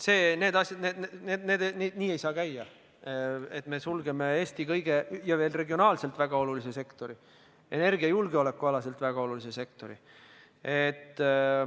Need asjad nii ei saa käia, et me sulgeme Eestis regionaalselt väga olulise sektori ja energiajulgeoleku seisukohalt samuti väga olulise sektori.